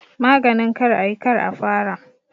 Maganin kar a yi, kar a fara